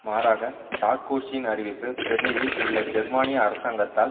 மாறாக சார்க்கோசியின் அறிவிப்பு பெர்னிலில் உள்ள ஜெர்மானிய அரசாங்கத்தால்